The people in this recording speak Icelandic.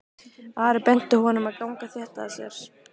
Ari benti honum að ganga þétt að sér.